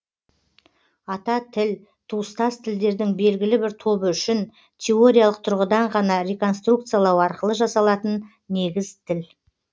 ата тіл туыстас тілдердің белгілі бір тобы үшін теориялық тұрғыдан ғана реконструкциялау арқылы жасалатын негіз тіл